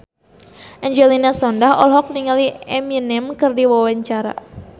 Angelina Sondakh olohok ningali Eminem keur diwawancara